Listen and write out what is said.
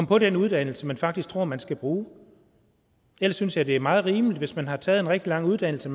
på den uddannelse man faktisk tror man skal bruge ellers synes jeg det er meget rimeligt at hvis man har taget en rigtig lang uddannelse